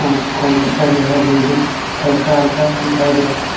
College का जो है बिल्डिंग हल्का-हल्का दिखाई दे रहा है.